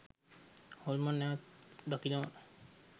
හොල්මන් නැවක් දකිනවා